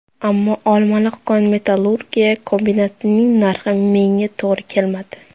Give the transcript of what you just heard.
Ammo Olmaliq kon-metallurgiya kombinatining narxi menga to‘g‘ri kelmadi.